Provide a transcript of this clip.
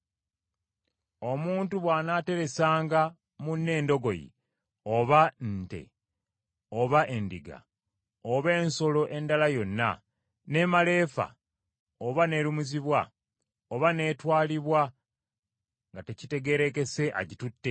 “Omuntu bw’anaateresanga munne endogoyi, oba ente, oba endiga, oba ensolo endala yonna; n’emala efa, oba n’erumizibwa, oba n’etwalibwa nga tekitegeerekese agitutte,